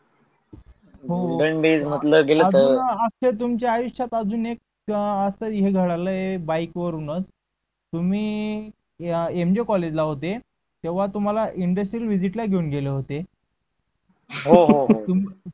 तुमच्या आयुष्यत अजून एक अस एक अं घडायल बाईक वरूनच तुम्ही एम बी कोलेज होते तेव्हा तुम्हाला indocile visit ला घेवून गेगेले होते.